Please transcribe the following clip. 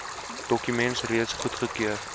dokument reeds goedgekeur